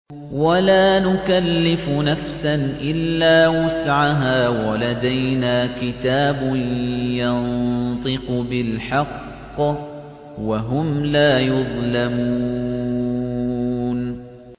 وَلَا نُكَلِّفُ نَفْسًا إِلَّا وُسْعَهَا ۖ وَلَدَيْنَا كِتَابٌ يَنطِقُ بِالْحَقِّ ۚ وَهُمْ لَا يُظْلَمُونَ